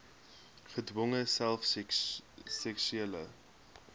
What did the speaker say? gedwonge self seksuele